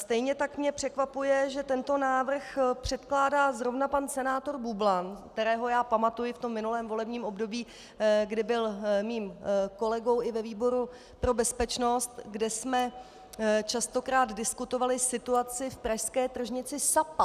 Stejně tak mě překvapuje, že tento návrh předkládá zrovna pan senátor Bublan, kterého já pamatuji v tom minulém volebním období, kdy byl mým kolegou i ve výboru pro bezpečnost, kde jsme častokrát diskutovali situaci v pražské tržnici Sapa.